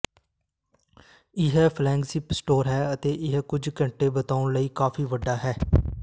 ਇਹ flagship store ਹੈ ਅਤੇ ਇਹ ਕੁਝ ਘੰਟੇ ਬਿਤਾਉਣ ਲਈ ਕਾਫੀ ਵੱਡਾ ਹੈ